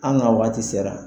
An ka wagati sera.